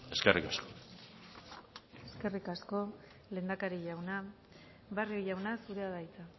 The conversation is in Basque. eskerrik asko eskerrik asko lehendakari jauna barrio jauna zurea da hitza